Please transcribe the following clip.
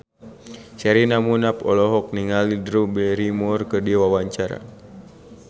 Sherina Munaf olohok ningali Drew Barrymore keur diwawancara